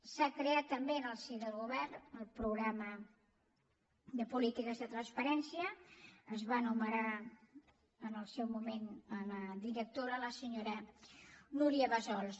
s’ha creat també en el si del govern el programa de polítiques de transparència se’n va nomenar en el seu moment la directora la senyora núria bassols